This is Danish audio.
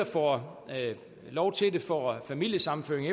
får lov til at få familiesammenføring